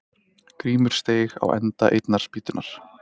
Grímur steig á enda einnar spýtunnar.